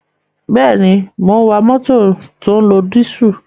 Bẹ́ẹ̀ ni, mò ń wa mótò tó ń lo dísù.